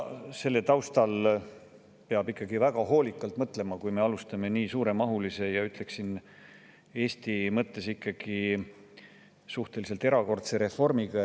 Selle taustal peab ikka väga hoolikalt mõtlema, enne kui me alustame nii suuremahulise ja, ütleksin, Eesti mõistes ikkagi suhteliselt erakordse reformiga.